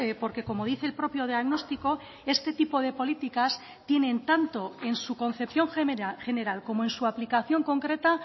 porque como dice el propio diagnóstico este tipo de políticas tienen tanto en su concepción general como en su aplicación concreta